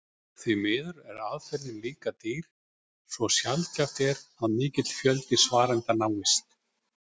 Því miður er aðferðin líka dýr svo sjaldgæft er að mikill fjöldi svarenda náist.